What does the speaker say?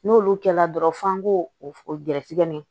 N'olu kɛla dɔrɔn f'an k'o o gɛrɛsɛgɛ ɲɛ